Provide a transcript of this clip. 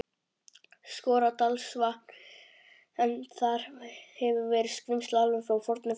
Skorradalsvatns, en þar hefur verið skrímsli alveg frá fornu fari.